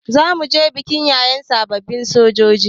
Zamuje bikin yaye sababbin sojoji